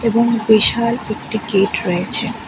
এবং বিশাল একটি গেট রয়েছে।